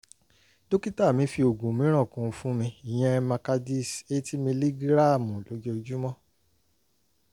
dókítà mi fi oògùn mìíràn kún un fún mi ìyẹn macardis eighty miligíráàmù lójoojúmọ́